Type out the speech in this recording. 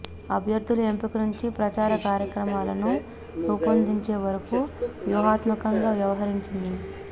అభ్యర్థుల ఎంపిక నుంచి ప్రచార కార్యక్రమాలను రూపొందించే వరకు వ్యూహాత్మకంగా వ్యవహరించింది